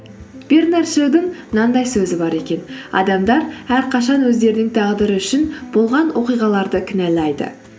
бернард шоудың мынандай сөзі бар екен адамдар әрқашан өздерінің тағдыры үшін болған оқиғаларды кінәлайды